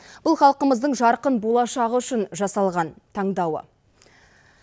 бұл халқымыздың жарқын болашағы үшін жасалған таңдауы